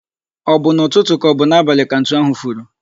O bụ n'ụtụtụ ka ọ bụ n'abalị ka ntu ahu furu?